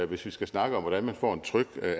hvis vi skal snakke om hvordan man får en tryg